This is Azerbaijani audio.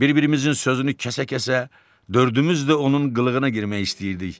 Bir-birimizin sözünü kəsə-kəsə dördümüz də onun qılığına girmək istəyirdik.